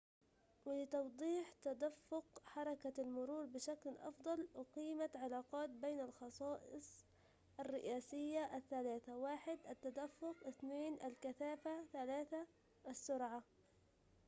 ولتوضيح تدفق حركة المرور بشكل أفضل، أقيمت علاقات بين الخصائص الرئيسية الثلاثة: 1 التدفق 2 الكثافة، و 3 السرعة